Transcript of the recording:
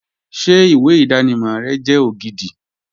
Ṣé ìwé ìdánimọ̀ rẹ jẹ́ ògidì